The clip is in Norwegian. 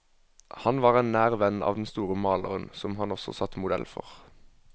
Han var en nær venn av den store maleren, som han også satt modell for.